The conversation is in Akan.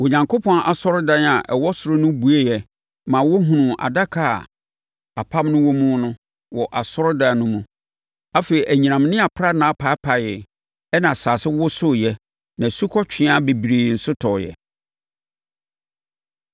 Onyankopɔn asɔredan a ɛwɔ ɔsoro no bueɛ maa wɔhunuu adaka a apam no wɔ mu no wɔ asɔredan no mu. Afei, anyinam ne aprannaa paapaee, ɛnna asase wosoeɛ na asukɔtweaa bebree nso tɔeɛ.